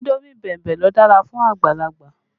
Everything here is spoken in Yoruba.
Indomi bẹ̀mbẹ̀ ló dára fún àgbàlagbà